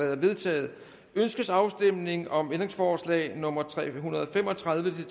er vedtaget ønskes afstemning om ændringsforslag nummer tre hundrede og fem og tredive til